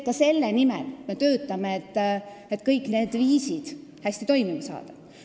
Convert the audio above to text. Ka selle nimel me töötame, et kõik need asjad hästi toimima saada.